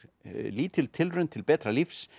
lítil tilraun til betra lífs